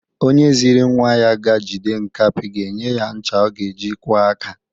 Onye zịrị nwa ya ga-jide nkapị ga-enye ya ncha ọ ga-eji kwọ aka.